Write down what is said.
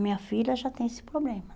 Minha filha já tem esse problema